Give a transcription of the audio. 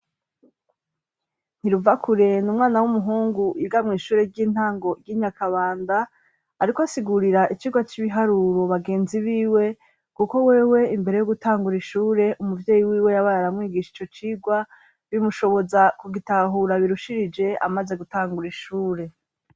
ntiruvakurenda umwana w'umuhungu iga mu ishure ry'intango ry'inyakabanda ariko asigurira ikigwa cy'ibiharuro bagenzi b'iwe kuko wewe imbere yo gutangura ishure umuvyeyi wiwe yabayaramwigisha icyo cigwa bimushoboza kugitahura birushirije amaze gutangura ishure